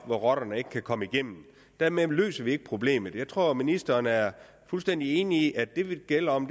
rotterne ikke kan komme igennem dermed løser vi ikke problemet jeg tror at ministeren er fuldstændig enig i at det det gælder om